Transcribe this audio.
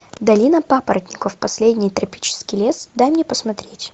долина папоротников последний тропический лес дай мне посмотреть